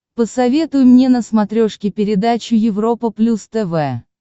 посоветуй мне на смотрешке передачу европа плюс тв